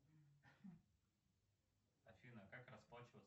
афина как расплачиваться